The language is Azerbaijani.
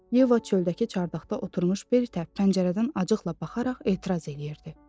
Yeva çöldəki çardaxda oturmuş Beritə pəncərədən acıqla baxaraq etiraz eləyirdi.